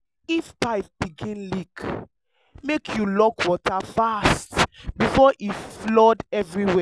if pipe begin leak make you lock water fast before e flood everywhere.